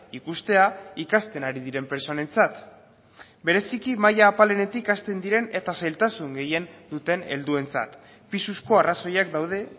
ikustea ikasten ari diren pertsonentzat bereziki maila apalenetik hasten diren eta zailtasun gehien duten helduentzat pisuzko arrazoiak daude